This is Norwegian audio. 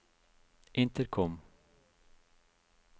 intercom